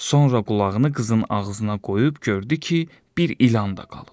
Sonra qulağını qızın ağzına qoyub gördü ki, bir ilan da qalıb.